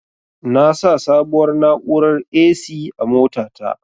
Na sa sabuwar na'urar "A.C" a mota ta